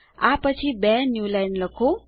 આ પછી બે ન્યૂલાઇન લખો